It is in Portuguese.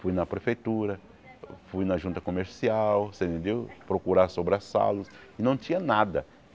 Fui na prefeitura, fui na junta comercial você entendeu, procurar sobre a salos e não tinha nada.